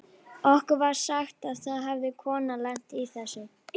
Okkur var sagt að það hefði kona lent í þessu.